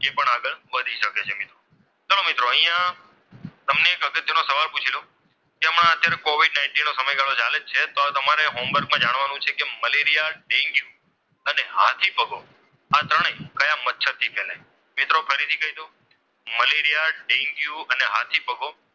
જેમાં અત્યારે COVID nineteen નો સમય ચાલે જ છે તો તમારે homework માં જાણવાનું છે કે મલેરિયા ડેન્ગ્યુ અને હાથીપગો આ ત્રણેય કયા મચ્છરથી ફેલાય મિત્રો ફરીથી કહી દઉં મલેરીયા ડેન્ગ્યુ અને હાથીપગો.